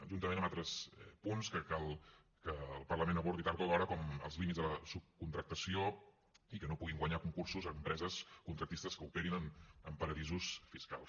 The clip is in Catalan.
juntament amb altres punts que cal que el parlament abordi tard o d’hora com els límits de la subcontractació i que no puguin guanyar concursos empreses contractistes que operin en paradisos fiscals